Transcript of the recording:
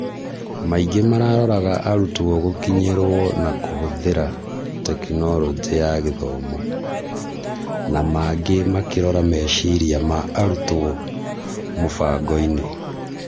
Maingĩ mararoraga arutwo gũkinyĩrwo na kũhũthĩra Tekinoronjĩ ya Gĩthomo, na mangĩ makirora meciria ma arutwo mũbangoinĩ.